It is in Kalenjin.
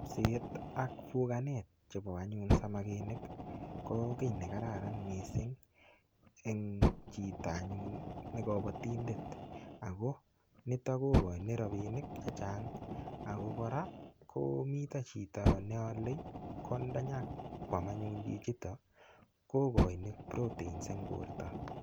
Seket ak bukanet chebo anyun samakinik ko kii nekararan mising en chito anyun nekobotindet ak ko niton ko koin rabinik chechang ak kora komitem chito neole kwalda anyokwam anyun chichiton kokoin proteins en borto.